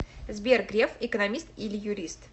сбер греф экономист или юрист